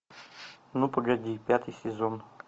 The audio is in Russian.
ну погоди пятый сезон